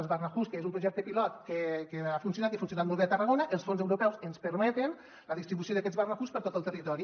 els barnahus que és un projecte pilot que ha funcionat i ha funcionat molt bé a tarragona els fons europeus ens permeten la distribució d’aquests barnahus per tot el territori